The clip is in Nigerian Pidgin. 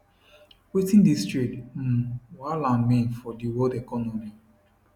wetin dis trade um wahala mean for di world economy